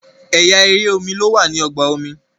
ẹyà èrè omí ló wà ní ọgbà omi